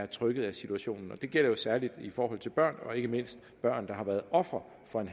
trykket af situationen og det gælder jo særlig i forhold til børn ikke mindst børn der har været ofre for en